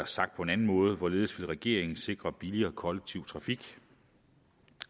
sagt på en anden måde hvorledes vil regeringen sikre billigere kollektiv trafik